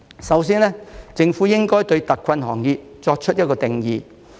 首先，政府應該對特困行業作出一個定義。